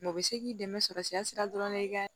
Mɛ u bɛ se k'i dɛmɛ sɔrɔ sɛmɔrɔ i ka